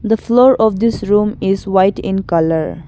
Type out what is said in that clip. The floor of this room is white in colour.